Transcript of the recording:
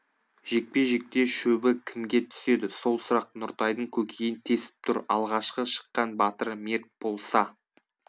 жекпе жекте шөбі кімге түседі сол сұрақ нұртайдың көкейін тесіп тұр алғашқы шыққан батыры мерт болса